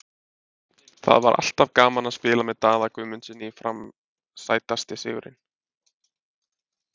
Það var alltaf gaman að spila með Daða Guðmundssyni í FRAM Sætasti sigurinn?